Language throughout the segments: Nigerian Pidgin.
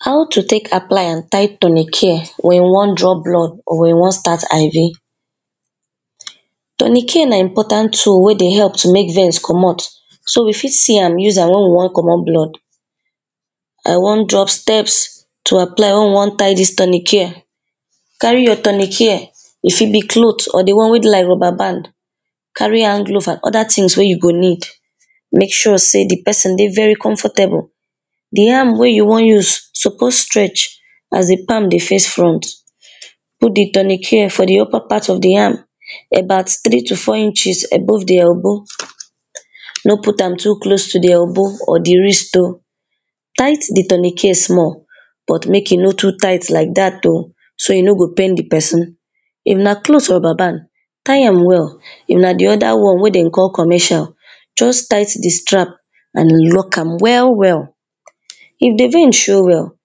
how to take apply and tie tournicare, wen you wan draw blood, or wen you wan start IV. tourniquet na important tool wey dey help to make veins comot. so, you fit see am use am, wen we wan comot blood. I wan drop steps to apply wey we wan tie dis tournicare. carry your tournicare, e fit be cloth or the one wey be like rubber band, carry handglove and other tins wey you go need, make sure sey the person dey very comfortable, the arm wey you wan use suppose stretch, as the palm dey face front put the tournicare for the upper part of the arm about three to four inches above the elbow. no put am too close to the elbow or the wrist oh, tight the tournicare small, but mek e no too tight like dat oh so e no go pain the person. if na clothes or rubber band tie am well, if na the other one wey dem call commercial, just tight the strap and lock am well well. if the vein show well,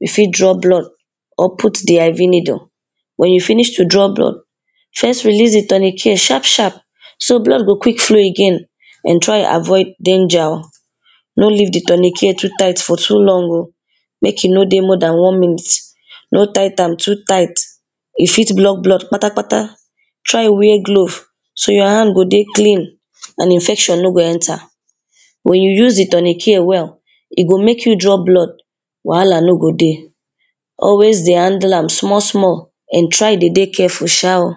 you fit draw blood, or put the IV needle, wen you finish to draw blood first release the tournicare sharp sharp, so blood go quick flow again. and try avoid danger oh, no leave the tournicare too tight for too long oh, make e no dey more dan one minutes, no tight am too tight e fit block blood kpata kpata, try wear glove so your hand go dey clean, and infection no go enter. wen you use the tournicare well, e go mek you draw blood wahala no go dey. always dey handle am small small, and try de dey careful sha oh.